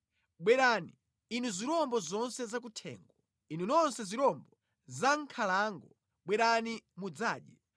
Bwerani, inu zirombo zonse zakuthengo, inu nonse zirombo zamʼnkhalango bwerani mudzadye!